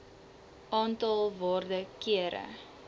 aantal waarde kere